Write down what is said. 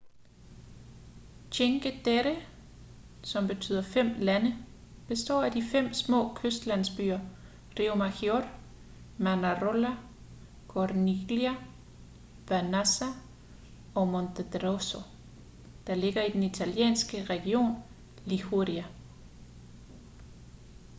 cinque terre som betyder fem lande består af de fem små kystlandsbyer riomaggiore manarola corniglia vernazza og monterosso der ligger i den italienske region liguria